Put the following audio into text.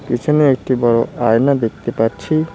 পিছনে একটি বড়ো আয়না দেখতে পাচ্ছি।